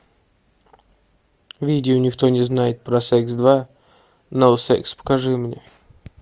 видео никто не знает про секс два ноу секс покажи мне